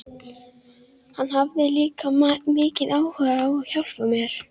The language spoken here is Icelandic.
Símon er að þroska með sér smekk fyrir sígildri tónlist.